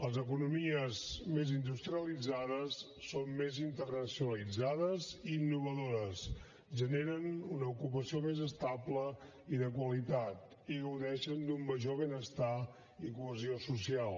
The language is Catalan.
les economies més industrialitzades són més internacionalitzades i innovadores generen una ocupació més estable i de qualitat i gaudeixen d’un major benestar i cohesió social